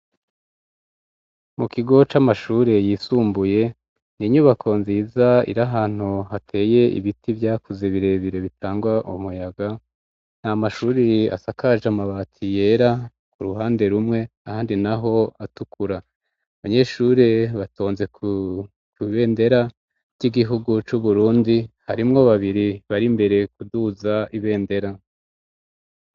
Mu kigo c'amashuri yisumbuye ni inyubako nziza iri ahantu hateye ibiti vyakuze birebire bitanga umuyaga nta mashuri asakaje amabati yera ku ruhande rumwe ahandi naho atukura abanyeshuri batonze kibendera by'igihugu c'uburundi harimwo babiri bari mbere kuduza ibendera.